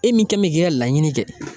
E min kɛn bɛ k'i ka laɲini kɛ.